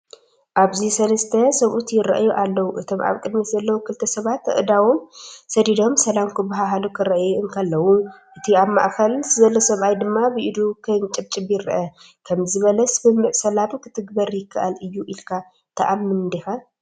ኣብዚ ሰለስተ ሰብኡት ይረኣዩ ኣለው። እቶም ኣብ ቅድሚት ዘለዉ ክልተ ሰባት ኣእዳዎም ሰዲዶም ሰላም ክባሃሉ ክረኣዩ እንከለዉ፡ እቲ ኣብ ማእከል ዘሎ ሰብኣይ ድማ ብኢዱ ከንጨብጭብ ይረአ። ከምዚ ዝበለ ስምምዕ ሰላም ክትግበር ይከኣል እዩ ኢልካ ትኣምን ዲኻ?